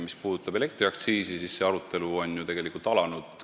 Mis puudutab elektriaktsiisi, siis see arutelu on ju tegelikult alanud.